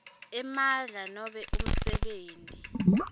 emandla nobe umsebenti